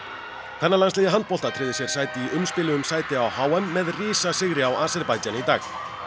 kvennalandsliðið í handbolta tryggði sér sæti í umspili um sæti á h m með risasigri á Aserbaídsjan í dag